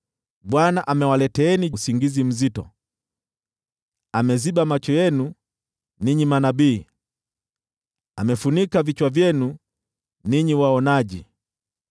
Bwana amewaleteeni usingizi mzito: Ameziba macho yenu (ninyi manabii); amefunika vichwa vyenu (ninyi waonaji).